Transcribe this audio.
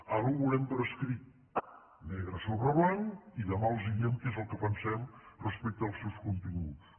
ara ho veurem per escrit negre sobre blanc i demà els diem què és el que pensem respecte als seus continguts